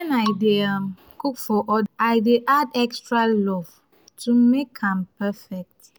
i dey um cook for i dey add extra love to make am perfect.